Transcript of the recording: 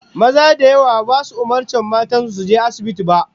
Maza da yawa basu umurci matan su su je asibitin ba